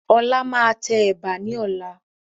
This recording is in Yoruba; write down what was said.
Ọlá máa tẹ Ẹ̀bà ni ọ̀la.